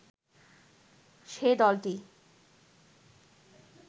সে দলটি